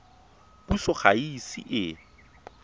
puso ga e ise e